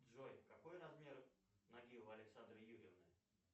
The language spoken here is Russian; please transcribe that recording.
джой какой размер ноги у александры юрьевны